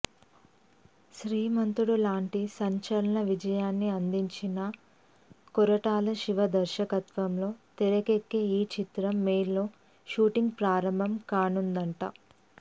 శ్రీమంతుడు లాంటి సంచలన విజయాన్ని అందించిన కొరటాల శివ దర్శకత్వంలో తెరకెక్కే ఈ చిత్రం మేలో షూటింగ్ ప్రారంభం కానుందట